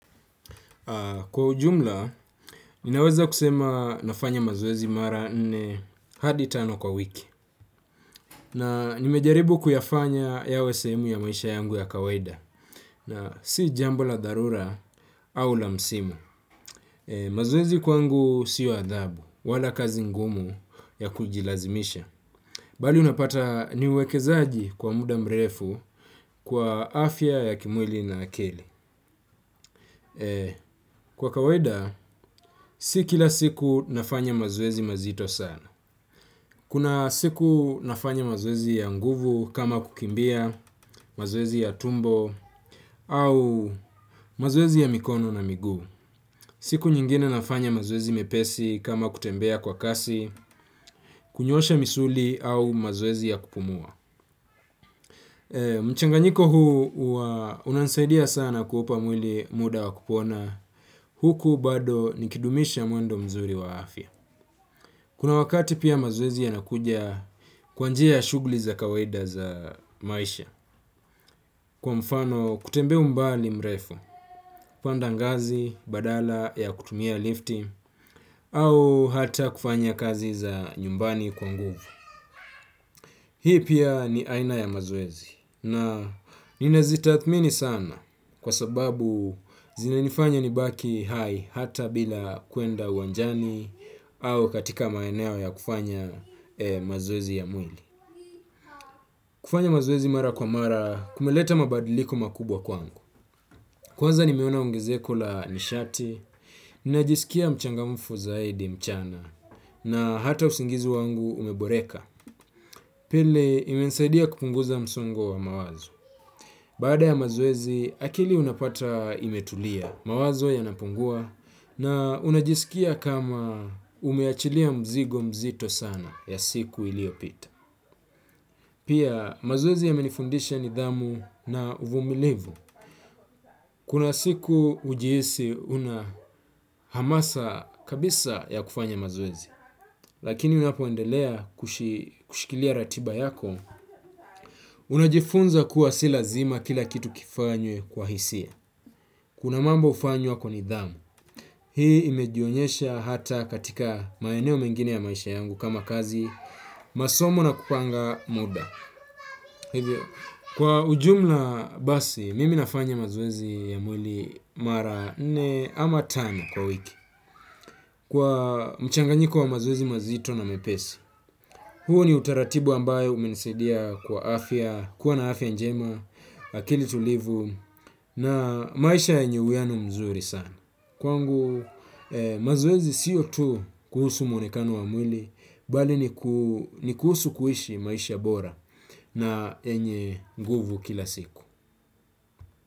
Kwa ujumla, ninaweza kusema nafanya mazoezi mara nne hadi tano kwa wiki. Na nimejaribu kuyafanya yawe sehemu ya maisha yangu ya kawaida. Na si jambo la dharura au la msimu. Mazoezi kwangu sio adhabu, wala kazi ngumu ya kujilazimisha. Bali unapata ni uwekezaji kwa muda mrefu kwa afya ya kimwili na ya akili. Kwa kawaida, si kila siku nafanya mazoezi mazito sana. Kuna siku nafanya mazoezi ya nguvu kama kukimbia, mazoezi ya tumbo au mazoezi ya mikono na miguu siku nyingine nafanya mazoezi mepesi kama kutembea kwa kasi, kunyoosha misuli au mazoezi ya kupumua. Mchanganyiko huu huwa unansaidia sana kuupa mwili muda wa kupona, huku bado nikidumisha mwendo mzuri wa afya. Kuna wakati pia mazoezi yanakuja kwa njia ya shughuli za kawaida za maisha. Kwa mfano kutembea umbali mrefu, kupanda ngazi badala ya kutumia lifti au hata kufanya kazi za nyumbani kwa nguvu. Hii pia ni aina ya mazoezi na ninazitathmini sana kwa sababu zinanifanya nibaki hai hata bila kuenda uwanjani au katika maeneo ya kufanya mazoezi ya mwili. Kufanya mazoezi mara kwa mara kumeleta mabadiliko makubwa kwangu. Kwanza nimeona ungezeko la nishati, ninajisikia mchangamufu zaidi mchana na hata usingizi wangu umeboreka. Pili, imesaidia kupunguza msongo wa mawazo. Baada ya mazoezi, akili unapata imetulia, mawazo yanapungua na unajisikia kama umeachilia mzigo mzito sana ya siku iliyopita. Pia mazoezi yamenifundisha nidhamu na uvumilivu. Kuna siku hujiisi una hamasa kabisa ya kufanya mazoezi. Lakini unapoendelea kushikilia ratiba yako. Unajifunza kuwa si lazima kila kitu kifanywe kwa hisia. Kuna mambo hufanywa kwa nidhamu. Hii imejionyesha hata katika maeneo mengine ya maisha yangu kama kazi masomo na kupanga muda, hivyo kwa ujumla basi, mimi nafanya mazoezi ya mwili mara nne ama tano kwa wiki. Kwa mchanganyiko wa mazoezi mazito na mepesi. Huu ni utaratibu ambayo umenisaidia kwa afya, kuwa na afya njema, akili tulivu na maisha yenye uwiano mzuri sana. Kwangu mazoezi siyo tu kuhusu muonekano wa mwili bali niku ni kuhusu kuishi maisha bora na yenye nguvu kila siku.